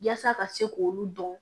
Yaasa ka se k'olu dɔn